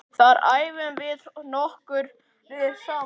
Þar æfum við nokkrir saman.